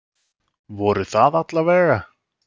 Voru það alla vega.